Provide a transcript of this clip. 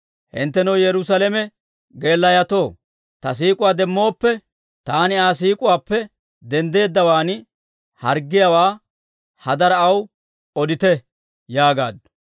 Hinttenoo Yerusaalame geelayotoo, ta siik'uwaa demmooppe, taani Aa siik'uwaappe denddeeddawaan harggiyaawaa, hadaraa, aw odite yaagaaddu.